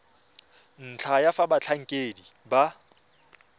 ntlha ya fa batlhankedi ba